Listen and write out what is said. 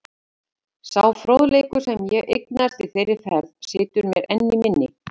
Sá fróðleikur, sem ég eignaðist í þeirri ferð, situr mér enn í minni.